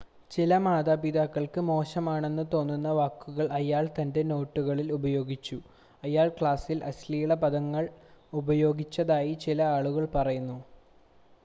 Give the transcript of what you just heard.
ചില മാതാപിതാക്കൾക്ക് മോശമാണെന്ന് തോന്നുന്ന വാക്കുകൾ അയാൾ തൻ്റെ നോട്ടുകളിൽ ഉപയോഗിച്ചു അയാൾ ക്ലാസിൽ അശ്ലീല പദങ്ങൾ ഉപയോഗിച്ചതായി ചില ആളുകൾ പറയുന്നു